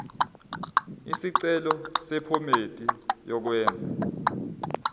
isicelo sephomedi yokwenze